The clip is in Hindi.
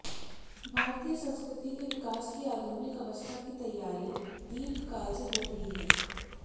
भारतीय संस्कृति के विकास की आधुनिक अवस्था की तैयारी दीर्घकाल से हो रही है